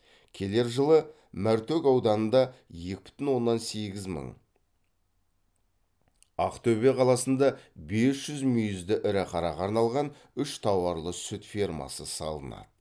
келер жылы мәртөк ауданында екі бүтін оннан сегіз мың ақтөбе қаласында бес жүз мүйізді ірі қараға арналған үш тауарлы сүт фермасы салынады